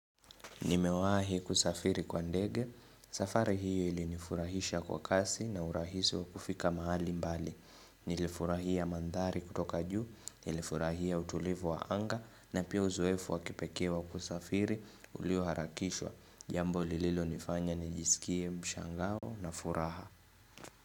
Nimewahi kusafiri kwa ndege, safari hii ilinifurahisha kwa kasi na urahisi wa kufika mahali mbali, nilifurahia mandhari kutoka juu, nilifurahia utulivu wa anga na pia uzoefu wa kipekee wa kusafiri ulioharakishwa, jambo lililonifanya nijisikie mshangao na furaha.